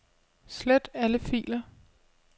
Slet alle filer.